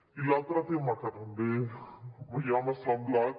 i l’altre tema que també home ja m’ha semblat